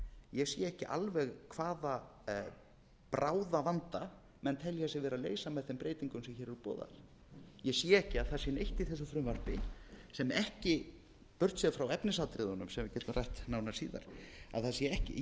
ég sé ekki alveg hvaða bráðavanda menn telja sig vera að leysa með þeim breytingum sem hér eru boðaðar ég sé ekki að það sé neitt í þessu frumvarpi burtséð frá efnisatriðunum sem við getum rætt nánar síðar ég sé ekki neitt